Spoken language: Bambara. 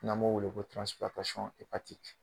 N'an m'o wele ko